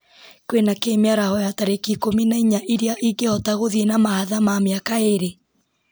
kwĩna kĩĩ mĩaraho ya tarĩki ikũmi na inya ĩrĩa ingĩhota gũthiĩ na mahatha ma mĩaka ĩĩrĩ